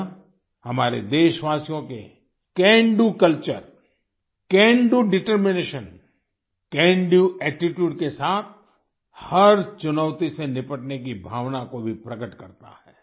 यह हमारे देशवासियों के can do culture can do determination can do attitude के साथ हर चुनौती से निपटने की भावना को भी प्रकट करता है